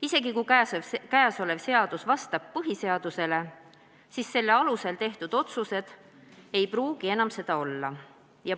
Isegi juhul, kui tulevane seadus vastab põhiseadusele, ei pruugi selle alusel tehtud otsused seda enam olla.